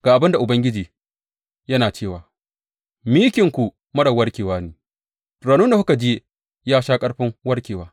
Ga abin da Ubangiji yana cewa, Mikinku marar warkewa ne, raunin da kuka ji ya sha ƙarfin warkarwa.